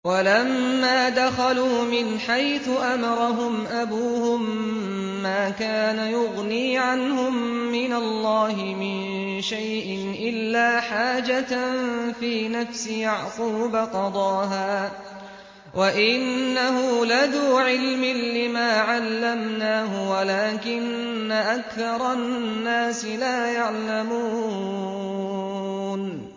وَلَمَّا دَخَلُوا مِنْ حَيْثُ أَمَرَهُمْ أَبُوهُم مَّا كَانَ يُغْنِي عَنْهُم مِّنَ اللَّهِ مِن شَيْءٍ إِلَّا حَاجَةً فِي نَفْسِ يَعْقُوبَ قَضَاهَا ۚ وَإِنَّهُ لَذُو عِلْمٍ لِّمَا عَلَّمْنَاهُ وَلَٰكِنَّ أَكْثَرَ النَّاسِ لَا يَعْلَمُونَ